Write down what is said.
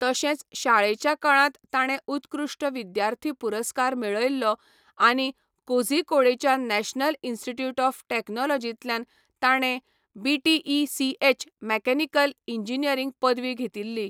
तशेंच शाळेच्या काळांत ताणें उत्कृश्ट विद्यार्थी पुरस्कार मेळयल्लो आनी कोझीकोडेच्या नॅशनल इन्स्टिट्यूट ऑफ टेक्नॉलॉजींतल्यान ताणें बीटीईसीएच मेकॅनिकल इंजिनियरिंग पदवी घेतिल्ली.